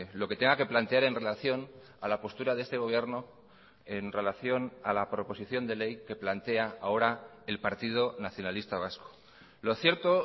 lo que tenga que plantear en relación a la postura de este gobierno en relación a la proposición de ley que plantea ahora el partido nacionalista vasco lo cierto